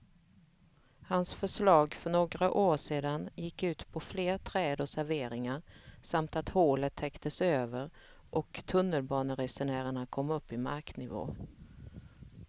Hans förslag för några år sedan gick ut på fler träd och serveringar samt att hålet täcktes över och tunnelbaneresenärerna kom upp i marknivå.